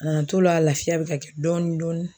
A nan t'o la, lafiya bɛ ka kɛ dɔɔni dɔɔni.